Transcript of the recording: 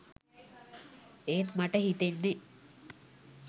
එත් මට හිතෙන්නේ